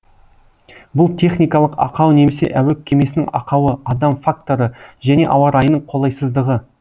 бұл техникалық ақау немесе әуе кемесінің ақауы адам факторы және ауа райының қолайсыздығы